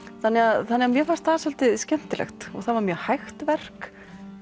þannig að mér fannst það svolítið skemmtilegt og það var mjög hægt verk